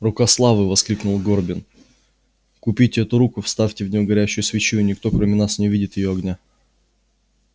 рука славы воскликнул горбин купите эту руку вставьте в неё горящую свечу и никто кроме вас не увидит её огня